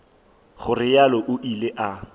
go realo o ile a